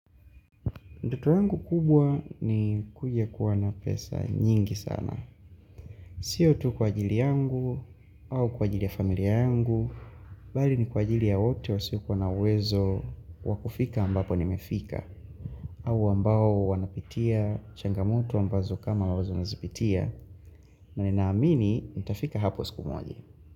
Ndoto yangu kubwa ni kuja kuwa na pesa nyingi sana. Sio tu kwa ajili yangu, au kwa ajili ya familia yangu, bali ni kwa ajili ya wote wasio kuwa na uwezo wakufika ambapo nimefika, au ambao wanapitia, changamoto ambazo kama wazo nazipitia, na ninaamini, nitafika hapo siku moja.